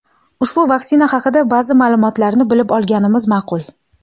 ushbu vaksina haqida ba’zi ma’lumotlarni bilib olganimiz ma’qul.